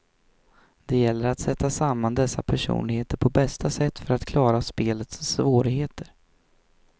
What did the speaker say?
Det gäller att sätta samman dessa personligheter på bästa sätt för att klara spelets svårigheter.